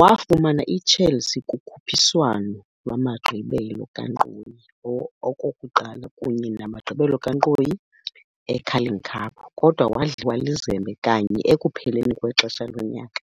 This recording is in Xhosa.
Wafumana iChelsea kukhuphiswano lwamagqibela kankqoyi okokuqala kunye namagqibela kankqoyi eCarling Cup, kodwa wadliwa lizembe kanye ekupheleni kwexesha lonyaka,